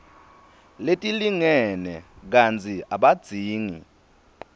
letilingene kantsi abadzingi